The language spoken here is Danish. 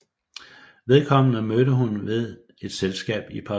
Vedkommende mødte hun ved et selskab i Paris